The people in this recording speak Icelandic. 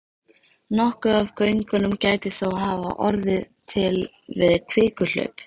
Nokkuð af göngunum gæti þó hafa orðið til við kvikuhlaup.